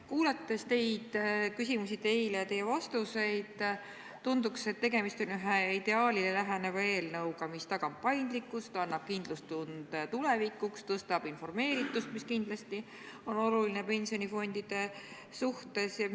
Kuulates teid, teile esitatud küsimusi ja teie vastuseid, tundub, et tegemist on ühe ideaalile läheneva eelnõuga, mis tagab paindlikkuse, annab kindlustunde tulevikuks, parandab informeeritust, mis on pensionifondide puhul kindlasti oluline.